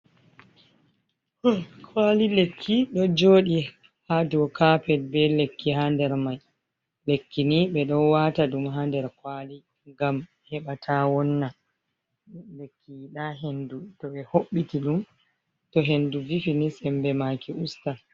Kwali lekki ɗo joɗi haa dow kapet be lekki haa nder mai. Lekkini ɓeɗo wata ɗum haa nder kwali ngam heɓa ta wonna. Lekki yiɗa hendu to ɓe hoɓɓiti ɗum to hendu vifini sembe maaki ustan.